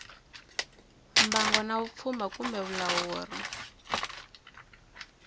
mbango na vupfhumba kumbe vulawuri